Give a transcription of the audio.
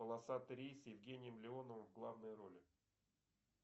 полосатый рейс с евгением леоновым в главной роли